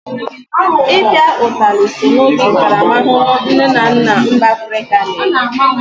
I pịa utali so n'otu ntaramahụhụ nne na nna mba Afrịka na-enye.